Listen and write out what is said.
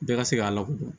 Bɛɛ ka se k'a lakodɔn